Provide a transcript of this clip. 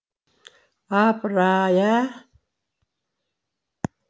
апыр ай ә